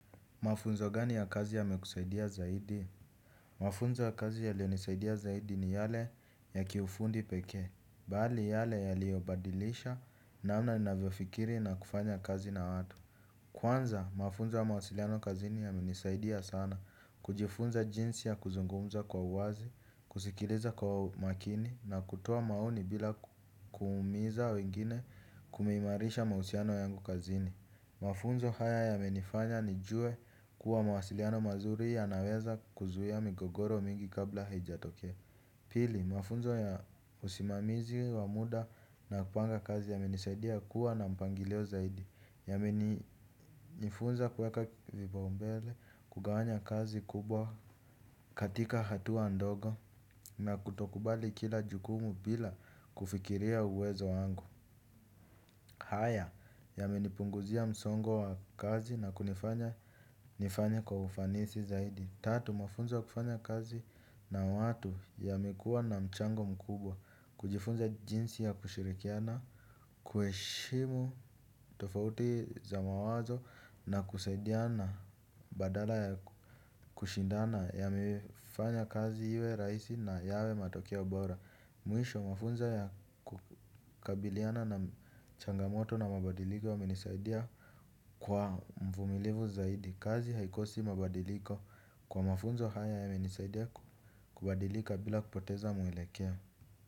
Mafunzo gani ya kazi yamekusaidia zaidi? Mafunzo ya kazi yaleonisaidia zaidi ni yale ya kiufundi peke. Bali yale yaliobadilisha namna navyofikiri na kufanya kazi na watu. Kwanza, mafunzo ya mausiliano kazini yamenisaidia sana. Kujifunza jinsi ya kuzungumza kwa uwazi, kusikiliza kwa umakini na kutowa maoni bila kumiza wengine kumeimarisha mausiano yangu kazini. Mafunzo haya yamenifanya nijue kuwa mawasiliano mazuri yanaweza kuzuia migogoro mingi kabla hijatokea. Pili, mafunzo ya usimamizi wa muda na kupanga kazi yamenisaidia kuwa na mpangilio zaidi. Yamenifunza kuweka vipaumbele kugawanya kazi kubwa katika hatuwa ndogo na kutokubali kila jukumu bila kufikiria uwezo wangu. Haya yamenipunguzia msongo wa kazi na kunifanya nifanye kwa ufanisi zaidi. Tatu mafunzo wa kufanya kazi na watu yamekua na michango mkubwa. Kujifunza jinsi ya kushirikiana kueshimu tofauti za mawazo na kusaidiana badala ya kushindana yamefanya kazi iwe raisi na yawe matokea bora. Mwisho mafunzo ya kukabiliana na changamoto na mabadiliko yamenisaidia kwa mfumilivu zaidi. Kazi haikosi mabadiliko kwa mafunzo haya yamenisaidia kubadilika bila kupoteza mwelekeo.